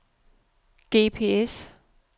GPS